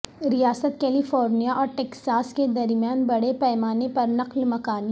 ریاست California اور Texas کے درمیان بڑے پیمانے پر نقل مکانی